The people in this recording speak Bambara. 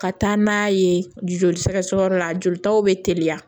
Ka taa n'a ye joli sɛgɛsɛgɛyɔrɔ la jolitaw bɛ teliya